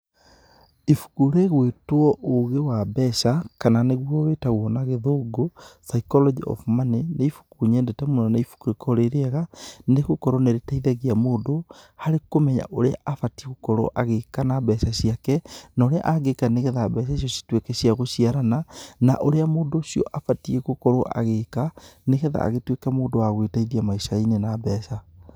Ibuku rĩgwĩtwo ũgĩ wa mbeca kana nĩ guo ĩtagwo na gĩthungũ psycology of money nĩ ibuku nyendete mũno, nĩ ibuku rikoragwo rĩrĩega nĩ gũkorwo nĩ rĩteithagia mũndũ harĩ kũmenya ũrĩa abatiĩ gũkorwo agĩka na mbeca ciake, na ũrĩa angika ni getha mbeca icio cituke cia gũciarana, na ũrĩa mũndũ ũcio abatiĩ gũkorwo agika, nĩgetha agĩtuĩke mũndũ wa gwiteithia maicainĩ na mbeca,